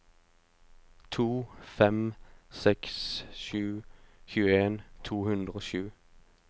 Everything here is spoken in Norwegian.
to fem seks sju tjueen to hundre og sju